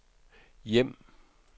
hjem